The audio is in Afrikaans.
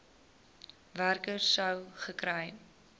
werker sou gekry